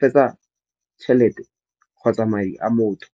fetsa tšhelete kgotsa madi a motho.